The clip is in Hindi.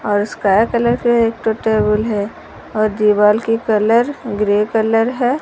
और स्काया कलर के एक टेबल है और दीवाल के कलर ग्रे कलर है।